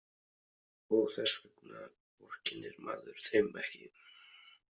Og þess vegna vorkennir maður þeim ekki.